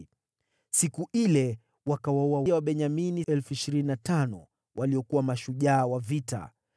Siku ile wakawaua Wabenyamini 25,000 waliokuwa mashujaa wa vita.